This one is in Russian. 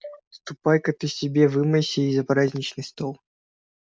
ступай-ка ты к себе вымойся и за праздничный стол